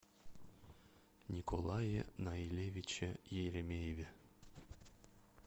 николае наилевиче еремееве